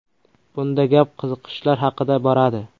Bunda gap qiziqishlar haqida boradi.